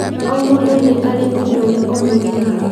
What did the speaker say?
O mũndũ nĩ arĩ ũndũ ũrĩa ũmũgiaga